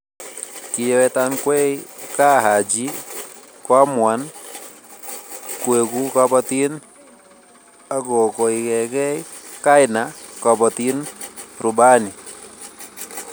Kiyewetankwei kaa Haji koamuan kueku kabotin akokoiekei kaina Kabotin Rubani